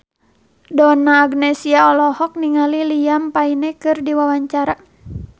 Donna Agnesia olohok ningali Liam Payne keur diwawancara